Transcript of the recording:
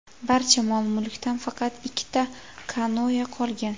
Barcha mol-mulkdan faqat ikkita kanoe qolgan.